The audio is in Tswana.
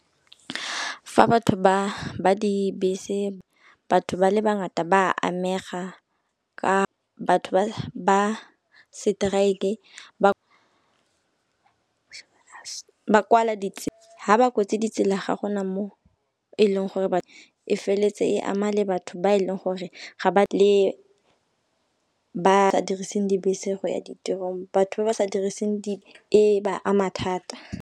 Fa batho ba dibese batho ba le bangata ba amega ka batho ba seteraeke ba kwala ditsela ha ba ketse ditsela ga gona mo e leng gore e feleletse e ama le batho ba e leng gore ga ba le ba dirisang dibese go ya ditirong. Batho ba ba sa diriseng di e ba ama thata.